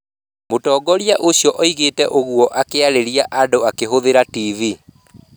Mũtongoria ũcio oigire ũguo akĩarĩria andũ akĩhũthĩra TV.